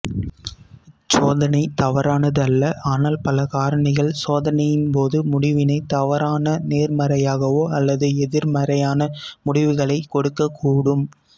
இச்சோதனை தவறானது அல்ல ஆனால் பல காரணிகள் சோதனையின் முடிவினை தவறான நேர்மறையாகவோ அல்லது எதிர்மறையான முடிவுகளைக் கொடுக்கக்கூடும்